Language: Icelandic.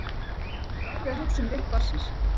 Þið verðið að hugsa um rétt barnsins.